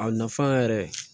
A nafa yɛrɛ